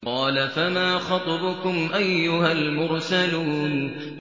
۞ قَالَ فَمَا خَطْبُكُمْ أَيُّهَا الْمُرْسَلُونَ